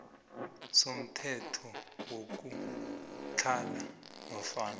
somthetho wokutlhala nofana